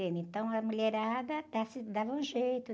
Então, a mulherada dava um jeito.